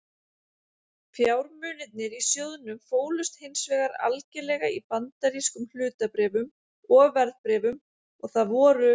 Fjármunirnir í sjóðnum fólust hins vegar algerlega í bandarískum hlutabréfum og verðbréfum og það voru